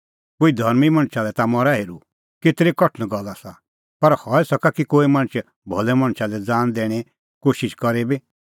कोई धर्मीं मणछा लै ता मरा हेरुं केतरी कठण गल्ल आसा पर हई सका कि कोई मणछ भलै मणछा लै ज़ान दैणें कोशिश करे बी